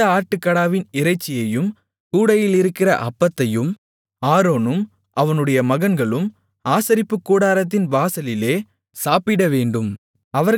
அந்த ஆட்டுக்கடாவின் இறைச்சியையும் கூடையிலிருக்கிற அப்பத்தையும் ஆரோனும் அவனுடைய மகன்களும் ஆசரிப்புக்கூடாரத்தின் வாசலிலே சாப்பிடவேண்டும்